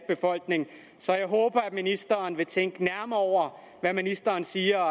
befolkning så jeg håber at ministeren fremover vil tænke nærmere over hvad ministeren siger og